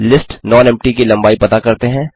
list nonempty की लम्बाई पता करते हैं